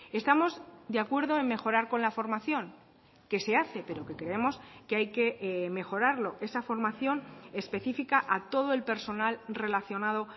estamos de acuerdo en mejorar con la formación que se hace pero que creemos que hay que mejorarlo esa formación específica a todo el personal relacionado